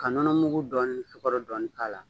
Ka nɔnɔmugu dɔɔni ni sikaro dɔɔni k'a la.